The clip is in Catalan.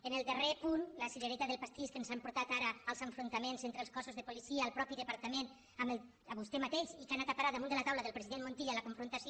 en el darrer punt la cirereta del pastís que ens ha portat ara als enfrontaments entre els cossos de policia el ma·teix departament amb vostè mateix i que ha anat a parar damunt la taula del president montilla la confrontació